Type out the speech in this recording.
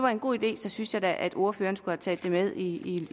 en god idé så synes jeg da at ordføreren skulle have taget det med i